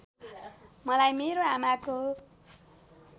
मलाई मेरो आमाको